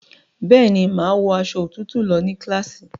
Bẹ́ẹ̀ni, màá wọ aṣọ òtútù lọ ní kíláàsì